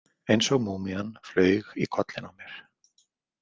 Eins og múmían, flaug í kollinn á mér.